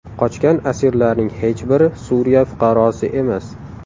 Qochgan asirlarning hech biri Suriya fuqarosi emas.